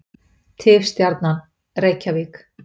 Tifstjarnan: Reykjavík.